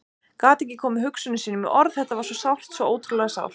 Gat ekki komið hugsunum sínum í orð, þetta var svo sárt, svo ótrúlega sárt.